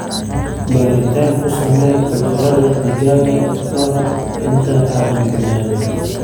Baaritaan ku samee cudurrada digaaga ka hor inta aadan bilaabin.